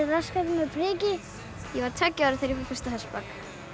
rassgatið með priki ég var tveggja ára þegar ég fór fyrst á hestbak